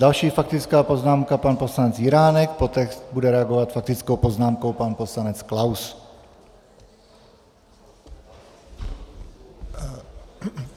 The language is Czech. Další faktická poznámka, pan poslanec Jiránek, poté bude reagovat faktickou poznámkou pan poslanec Klaus.